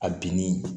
A binni